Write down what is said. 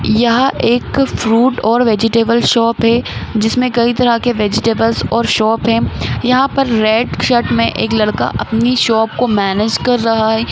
यह एक फ्रूट और वेजिटेबल शॉप है जिसमें कई तरह के वेजिटेबल और शॉप हैं यहाँ पर रेड शर्ट में एक लड़का अपनी शॉप को मैनेज कर रहा है।